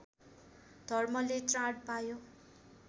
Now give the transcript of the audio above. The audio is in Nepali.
धर्मले त्राण पायो